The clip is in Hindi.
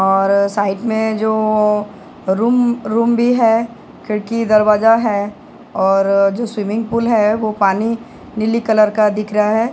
और आ साइड में जो रूम रूम भी है खिड़की दरवाज़ा है और जो स्विमिंग पूल है वो पानी नीले रंग का दिख रहा है।